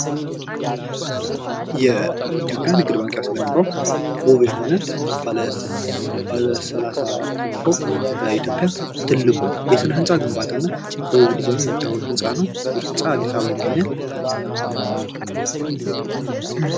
የኢትዮጵያ ንግድ ባንክ ያስገነባው ዉብ የሆነ ባለ ሰላሳ አራተኛ ፎቅ በኢትዮጵያ ትልቁ የስነህንፃ ግንባታ እና በዉቡ ዲዛይን የሚታወቅ ህንፃ ነው:: ይህ ህንፃ አዲስአበባ ይገኛል::